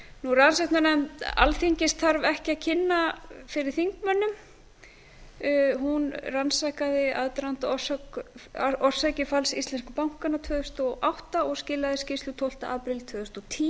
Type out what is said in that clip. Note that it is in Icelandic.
rannsóknarnefnd alþingis þarf ekki að kynna fyrir þingmönnum hún rannsakaði aðdraganda og orsakir falls íslensku bankanna tvö þúsund og átta og skilaði skýrslu tólfta apríl tvö þúsund og tíu